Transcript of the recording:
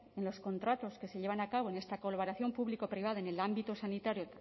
en los contratos que se llevan a cabo en esta colaboración público privada en el ámbito sanitario